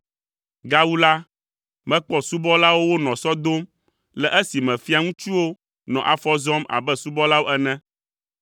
Gawu la, mekpɔ subɔlawo wonɔ sɔ dom le esime fiaviŋutsuwo nɔ afɔ zɔm abe subɔlawo ene!